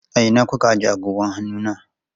A ina kuka ajiye agogon hannu na?